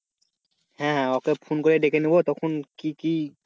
হ্যাঁ হ্যাঁ okay phone করে ডেকে নেবো তখন কি কি,